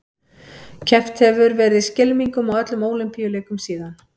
Keppt hefur verið í skylmingum á öllum Ólympíuleikum síðan.